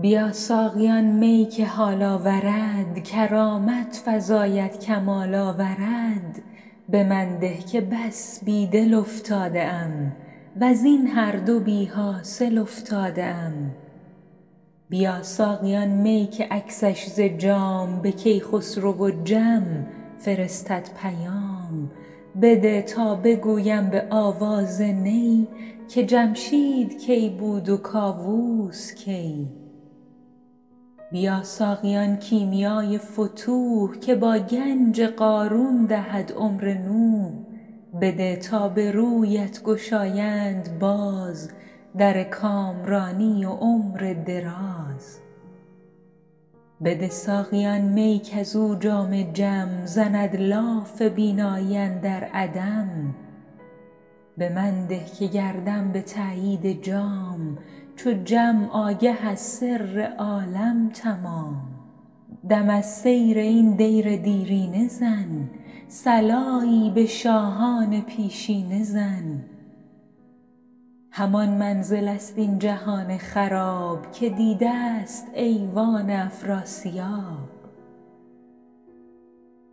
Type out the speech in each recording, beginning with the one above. بیا ساقی آن می که حال آورد کرامت فزاید کمال آورد به من ده که بس بی دل افتاده ام وز این هر دو بی حاصل افتاده ام بیا ساقی آن می که عکسش ز جام به کیخسرو و جم فرستد پیام بده تا بگویم به آواز نی که جمشید کی بود و کاووس کی بیا ساقی آن کیمیای فتوح که با گنج قارون دهد عمر نوح بده تا به رویت گشایند باز در کامرانی و عمر دراز بده ساقی آن می کز او جام جم زند لاف بینایی اندر عدم به من ده که گردم به تأیید جام چو جم آگه از سر عالم تمام دم از سیر این دیر دیرینه زن صلایی به شاهان پیشینه زن همان منزل ست این جهان خراب که دیده ست ایوان افراسیاب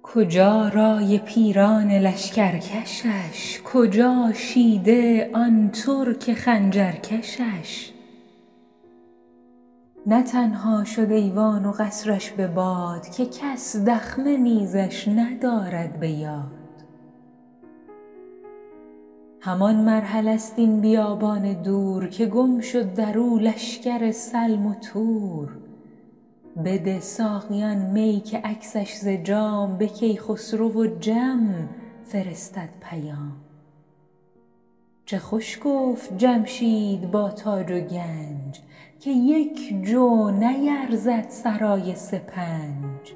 کجا رأی پیران لشکر کشش کجا شیده آن ترک خنجر کشش نه تنها شد ایوان و قصر ش به باد که کس دخمه نیزش ندارد به یاد همان مرحله ست این بیابان دور که گم شد درو لشکر سلم و تور بده ساقی آن می که عکسش ز جام به کیخسرو و جم فرستد پیام چه خوش گفت جمشید با تاج و گنج که یک جو نیرزد سرای سپنج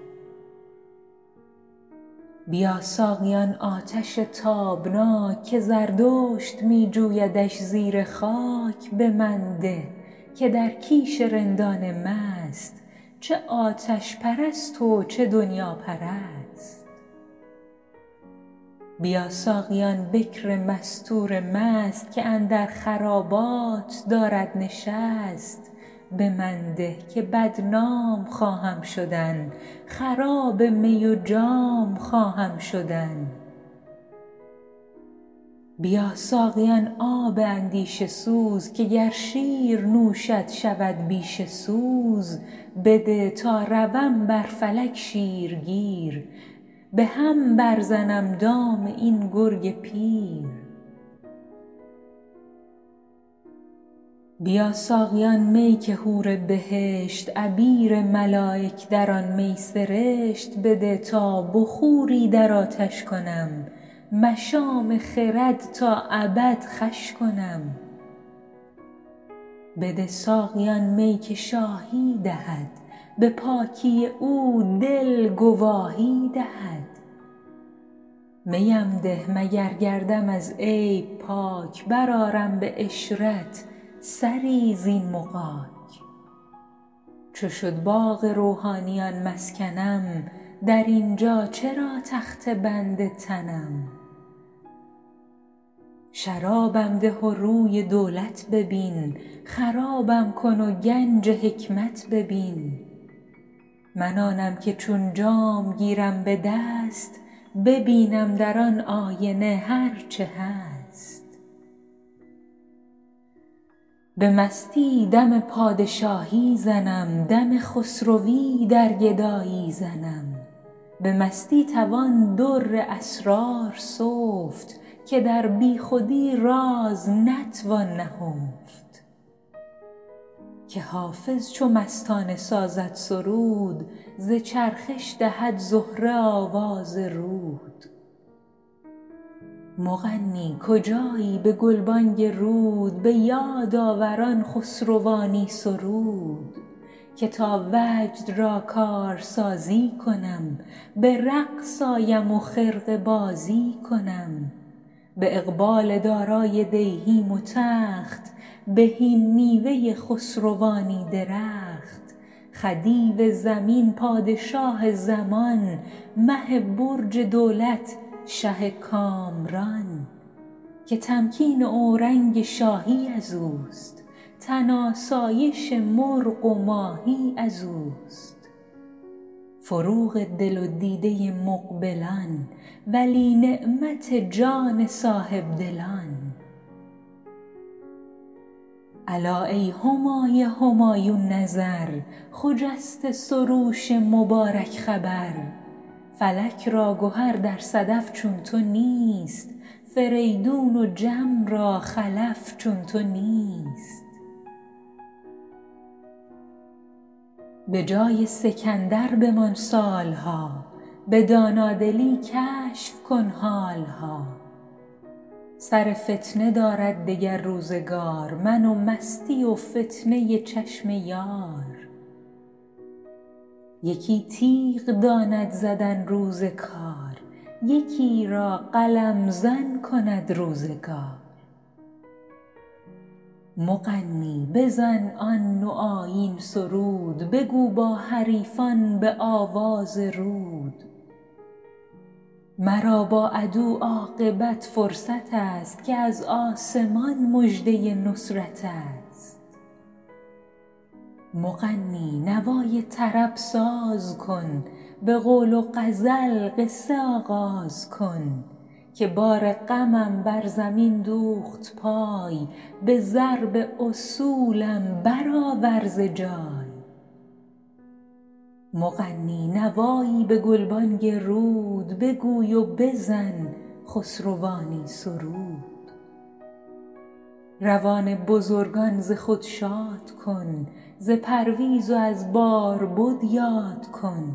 بیا ساقی آن آتش تابناک که زردشت می جویدش زیر خاک به من ده که در کیش رندان مست چه آتش پرست و چه دنیاپرست بیا ساقی آن بکر مستور مست که اندر خرابات دارد نشست به من ده که بدنام خواهم شدن خراب می و جام خواهم شدن بیا ساقی آن آب اندیشه سوز که گر شیر نوشد شود بیشه سوز بده تا روم بر فلک شیرگیر به هم بر زنم دام این گرگ پیر بیا ساقی آن می که حور بهشت عبیر ملایک در آن می سرشت بده تا بخوری در آتش کنم مشام خرد تا ابد خوش کنم بده ساقی آن می که شاهی دهد به پاکی او دل گواهی دهد می ام ده مگر گردم از عیب پاک برآرم به عشرت سری زین مغاک چو شد باغ روحانیان مسکنم در این جا چرا تخته بند تنم شرابم ده و روی دولت ببین خرابم کن و گنج حکمت ببین من آنم که چون جام گیرم به دست ببینم در آن آینه هر چه هست به مستی دم پادشاهی زنم دم خسروی در گدایی زنم به مستی توان در اسرار سفت که در بی خودی راز نتوان نهفت که حافظ چو مستانه سازد سرود ز چرخش دهد زهره آواز رود مغنی کجایی به گلبانگ رود به یاد آور آن خسروانی سرود که تا وجد را کارسازی کنم به رقص آیم و خرقه بازی کنم به اقبال دارای دیهیم و تخت بهین میوه خسروانی درخت خدیو زمین پادشاه زمان مه برج دولت شه کامران که تمکین اورنگ شاهی ازوست تن آسایش مرغ و ماهی ازوست فروغ دل و دیده مقبلان ولی نعمت جان صاحب دلان الا ای همای همایون نظر خجسته سروش مبارک خبر فلک را گهر در صدف چون تو نیست فریدون و جم را خلف چون تو نیست به جای سکندر بمان سال ها به دانادلی کشف کن حال ها سر فتنه دارد دگر روزگار من و مستی و فتنه چشم یار یکی تیغ داند زدن روز کار یکی را قلم زن کند روزگار مغنی بزن آن نوآیین سرود بگو با حریفان به آواز رود مرا بر عدو عاقبت فرصت است که از آسمان مژده نصرت است مغنی نوای طرب ساز کن به قول و غزل قصه آغاز کن که بار غمم بر زمین دوخت پای به ضرب اصولم برآور ز جای مغنی نوایی به گلبانگ رود بگوی و بزن خسروانی سرود روان بزرگان ز خود شاد کن ز پرویز و از باربد یاد کن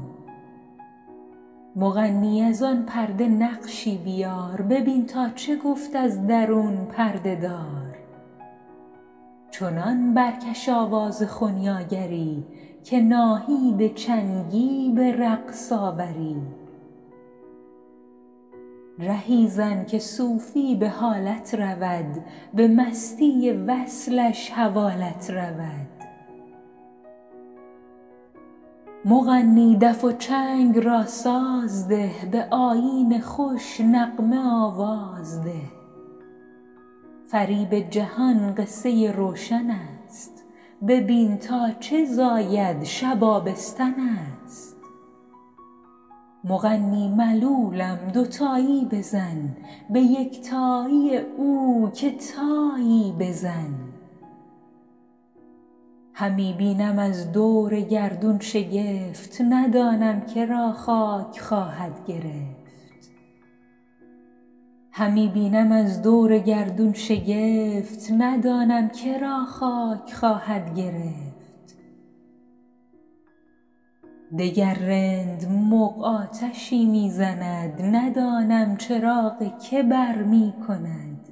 مغنی از آن پرده نقشی بیار ببین تا چه گفت از درون پرده دار چنان برکش آواز خنیاگری که ناهید چنگی به رقص آوری رهی زن که صوفی به حالت رود به مستی وصلش حوالت رود مغنی دف و چنگ را ساز ده به آیین خوش نغمه آواز ده فریب جهان قصه روشن است ببین تا چه زاید شب آبستن است مغنی ملولم دوتایی بزن به یکتایی او که تایی بزن همی بینم از دور گردون شگفت ندانم که را خاک خواهد گرفت وگر رند مغ آتشی می زند ندانم چراغ که برمی کند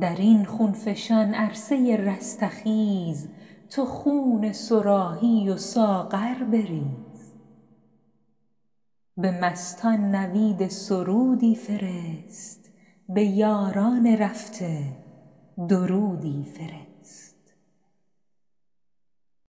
در این خون فشان عرصه رستخیز تو خون صراحی و ساغر بریز به مستان نوید سرودی فرست به یاران رفته درودی فرست